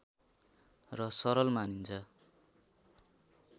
र सरल मानिन्छ